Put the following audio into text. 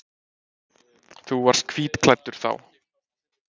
Þú varst hvítklæddur þá.